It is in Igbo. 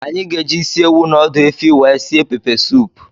Anyị ga-eji ịsị ewụ na ọdụ efi wee sie pepe soupu.